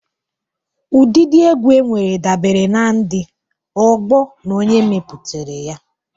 Ụdịdị egwu enwere dabere na ndị, ọgbọọ, na onye mepụtara ya.